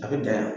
A bɛ dayan